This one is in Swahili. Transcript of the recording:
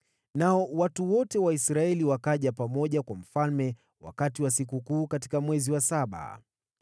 Nao wanaume wote wa Israeli wakakusanyika kwa mfalme wakati wa sikukuu mwezi wa saba.